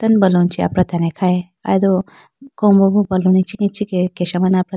tando baloon chee apratene khayi aye do kowombo bo balloon ichikhi kesha mane apra.